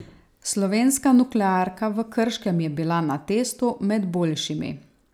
Slovenska nuklearka v Krškem je bila na testu med boljšimi.